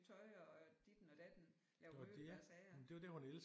Tøj og ditten og datten lave møbler og sager